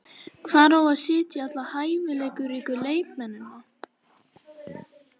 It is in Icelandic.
Hvar á að setja alla hæfileikaríku leikmennina?